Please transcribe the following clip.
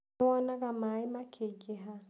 Nĩ wonaga maaĩ makĩingĩha?